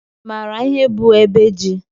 i maara ihe bụ ebe ji?